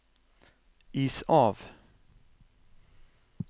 is av